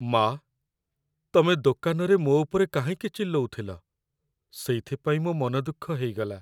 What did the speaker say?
ମା'! ତମେ ଦୋକାନରେ ମୋ' ଉପରେ କାହିଁକି ଚିଲ୍ଲଉଥିଲ, ସେଇଥିପାଇଁ ମୋ' ମନଦୁଃଖ ହେଇଗଲା ।